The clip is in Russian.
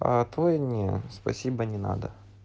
а твой не спасибо не надо